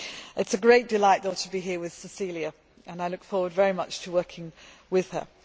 It is a great delight, though, to be here with Cecilia and I look forward very much to working with her.